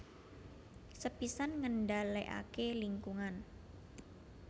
Sepisan ngendhalèkaké lingkungan